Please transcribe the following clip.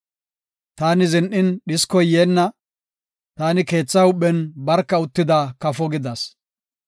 Taani zin7in dhiskoy yeenna; taani keetha huuphen barka uttida kafo gidas.